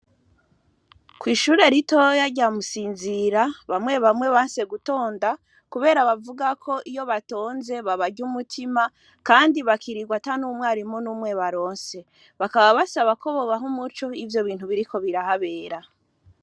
Ko'ishure ritoya aryamusinzira bamwe bamwe banse gutonda, kubera bavuga ko iyo batonze babarya umutima, kandi bakirirwa ata n'umwarimu n'umwe baronse bakaba basaba ko bobaho umuco ivyo bintu biriko birahabera.